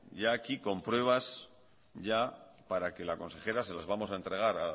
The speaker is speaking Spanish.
ya aquí con pruebas para que la consejera se las vamos a entregar